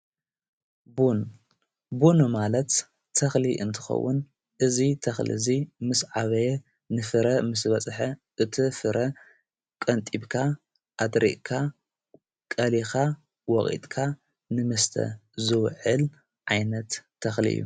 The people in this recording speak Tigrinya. ቡን ማለት ተኽሊ እንትኸውን እዙ ተኽሊ እዙይ ምስ ዓበየ ንፍረ ምስ በጽሐ እቲ ፍረ ቐንጢብካ ኣድሪቕካ ቀሊኻ ወቒጥካ ንምስተ ዙውዕል ዓይነት ተኽሊ እዩ።